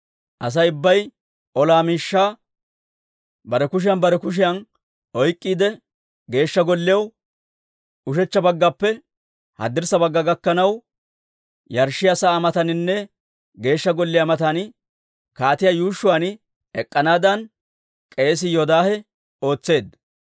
Asay ubbay ola miishshaa bare kushiyan bare kushiyan oyk'k'iide, Geeshsha Golliyaw ushechcha baggappe haddirssa bagga gakkanaw, yarshshiyaa sa'aa mataaninne Geeshsha Golliyaa matan kaatiyaa yuushshuwaan ek'k'anaadan k'eesii Yoodaahe ootseedda.